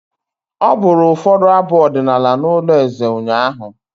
Ọ bụrụ ụfọdụ abụ ọdịnala n'ụlọ eze ụnyaahụ.